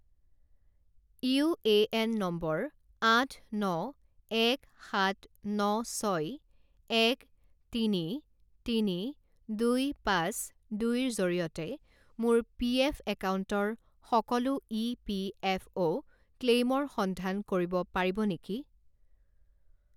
UAN নম্বৰ আঠ ন এক সাত ন ছয় এক তিনি তিনি দুই পাঁচ দুইৰ জৰিয়তে মোৰ পিএফ একাউণ্টৰ সকলো ইপিএফঅ’ ক্লেইমৰ সন্ধান কৰিব পাৰিব নেকি?